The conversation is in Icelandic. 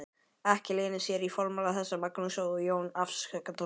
Ekki leynir sér í formála þeirra Magnúsar og Jóns afsökunartónninn.